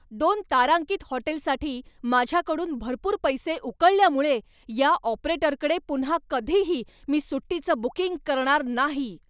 दोन तारांकित हॉटेलसाठी माझ्याकडून भरपूर पैसे उकळल्यामुळे या ऑपरेटरकडे पुन्हा कधीही मी सुट्टीचं बुकिंग करणार नाही.